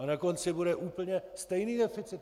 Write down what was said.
A na konci bude úplně stejný deficit.